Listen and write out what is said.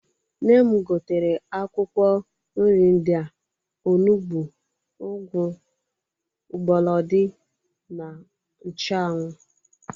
Nne m gotere akwụkwọ nri ndị a: onugbu, ụgwụ, mgbọlọdọị, na nchụanwụ.